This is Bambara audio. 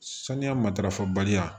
Saniya matarafa baliya